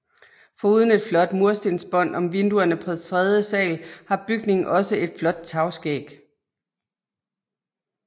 Foruden et flot murstensbånd om vinduerne på tredje sal har bygningen også et flot tagskæg